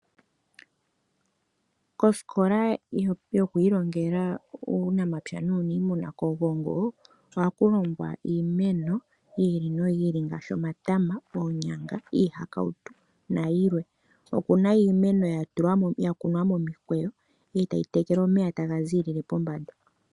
Kosikola yoku ilongela uunamapya nuuniimuna kOgongo ohaku longwa iimeno yi ili noyi ili ngaashi omatama, oonyanga, iihakautu nayilwe. Okuna iimeno yakunwa momukweyo e tayi tekelwa omeya taga ziilile pombanda.